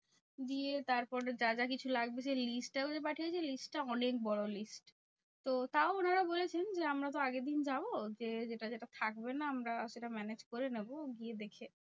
দিয়ে তারপরে যা যা কিছু লাগবে সেই list টাও যে পাঠিয়েছে, সেই list টা অনেক বড় list. তো তাও ওনারা বলেছেন যে, আমরা তো আগের দিন যাবো? গিয়ে যেটা যেটা থাকবে না আমরা সেটা manage করে নেবো গিয়ে দেখে।